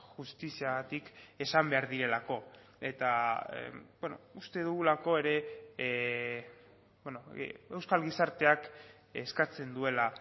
justiziagatik esan behar direlako eta uste dugulako ere euskal gizarteak eskatzen duela